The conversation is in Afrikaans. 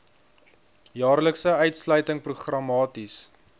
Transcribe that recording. jaarlikse uitsluiting programmaties